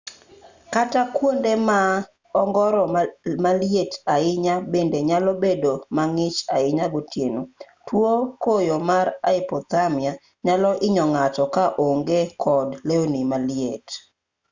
kata kuonde ma ongoro maliet ahinya bende nyalo bedo mang'ich ahinya gotieno tuo koyo mar hypothermia nyalo hinyo ng'ato ka oonge kod lewni maliet